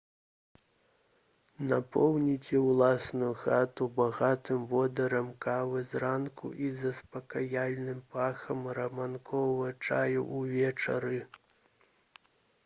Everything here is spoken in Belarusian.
напоўніце ўласную хату багатым водарам кавы зранку і заспакаяльным пахам рамонкавага чаю ўвечары